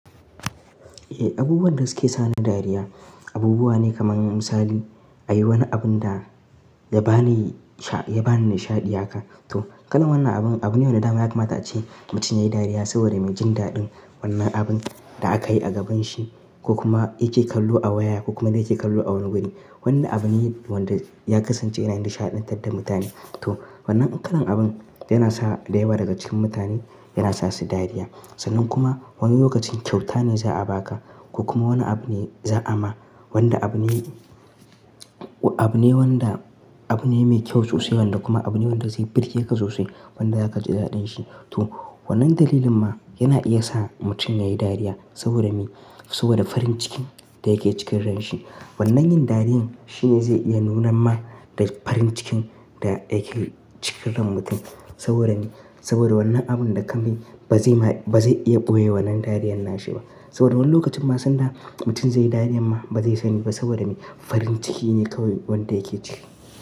Eh abubuwan da suke sa ni dariya, abubuwa ne kaman misali, an yi wani abun da ya ba ni nishaɗi haka. To kalman wannan abun abune wanda ma ya kamata ace mutum yayi dariya saboda me jin daɗin wannan abun da aka yi a gaban shi ko kuma yake kallo a waya ko kuma da yake kallo a wani guri. Wannan abun ne wanda ya kasance yana yin nishaɗantar da mutane. To wannan kalan abun yana sa da yawa daga cikin mutane, yana sa su dariya. Sannan kuma wani lokacin kyauta ne za a ba ka ko kuma wani abu ne za a ma wanda abune, abune wanda abune mai kyau sosai wanda kuma abune wanda zai birge ka sosai wanda zaka ji daɗin shi. To wannan dalilin ma yana iya sa mutum yayi dariya saboda me? Saboda farin cikin da yake cikin ranshi. Wannan yin dariya shine zai iya nuna ma da farin cikin da yake cikin ran mutum saboda me? Saboda wannan abun da ka mai ba zai iya ɓoye wannan dariyar nashi ba. Saboda wani lokacin ma sanda mutum zai yi dariya ma ba zai sani ba saboda me? Farin ciki ne kawai wanda yake ciki.